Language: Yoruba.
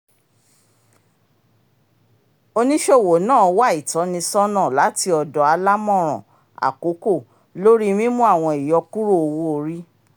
oníṣòwò náà wà ìtọ́nisọ́nà láti ọdọ àlámọran àkókò lórí mímú àwọn ìyọkúrò òwò-orí